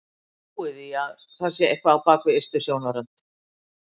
Ég trúi því að það sé eitthvað á bak við ystu sjónarrönd.